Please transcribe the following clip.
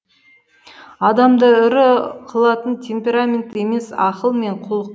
адамды ірі қылатын темперамент емес ақыл мен құлық